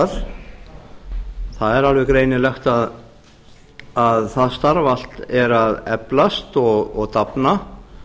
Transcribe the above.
það er alveg greinilegt að það starf allt er að eflast og dafna